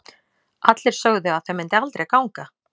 Allir sögðu að það myndi aldrei ganga.